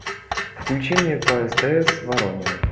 включи мне по стс воронины